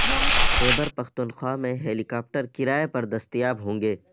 خیبر پختونخوا میں helicopter کرائے پر دستیاب ہوں گے